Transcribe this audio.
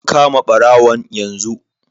An kama barawon yanzu.